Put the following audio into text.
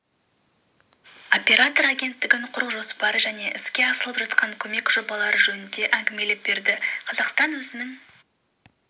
оператор агенттігін құру жоспары және іске асырылып жатқан көмек жобалары жөнінде әңгімелеп берді қазақстан өзінің